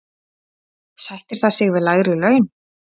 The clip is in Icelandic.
Sættir það sig við lægri laun?